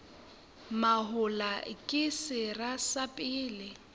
mahola ke sera sa pele